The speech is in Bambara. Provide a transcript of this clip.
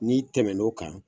N'i tɛmɛnna o kan